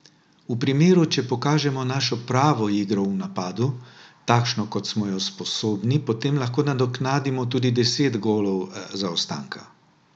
V primeru, če pokažemo našo pravo igro v napadu, takšno kot smo jo sposobni, potem lahko nadoknadimo tudi deset golov zaostanka.